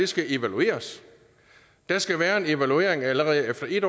skal evalueres der skal være en evaluering allerede efter en